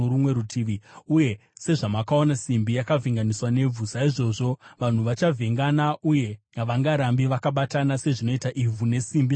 Uye sezvamakaona simbi yakavhenganiswa nevhu, saizvozvo vanhu vachavhengana uye havangarambi vakabatana, sezvinoita ivhu nesimbi zvakavhengana.